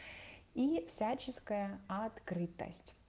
и всяческая открытость